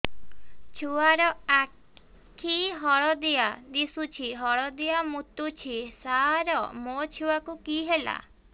ଛୁଆ ର ଆଖି ହଳଦିଆ ଦିଶୁଛି ହଳଦିଆ ମୁତୁଛି ସାର ମୋ ଛୁଆକୁ କି ହେଲା